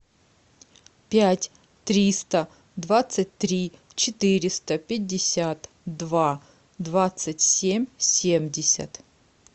пять триста двадцать три четыреста пятьдесят два двадцать семь семьдесят